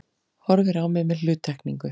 Horfir á mig með hluttekningu.